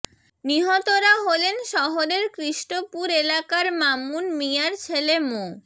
নিহতরা হলেন শহরের কৃস্টপুর এলাকার মামুন মিয়ার ছেলে মো